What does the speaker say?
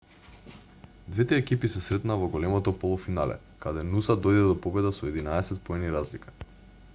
двете екипи се сретнаа во големото полуфинале каде нуса дојде до победа со 11 поени разлика